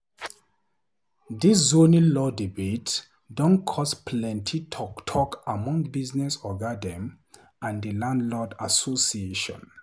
Dis zoning law debate don cause plenty talk talk among business oga dem and di landlord association.